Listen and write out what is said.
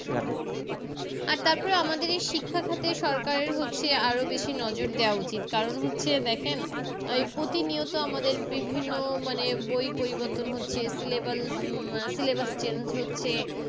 আর তারপরে আমাদের এই শিক্ষাখাতে সরকারের হচ্ছে আরো বেশি নজর দেওয়া উচিত কারণ হচ্ছে দেখেন আহ এই প্রতি নিয়ত আমাদের বিভিন্ন মানে বই পরিবর্তন হচ্ছে Syllabus উম Syllabus change হচ্ছে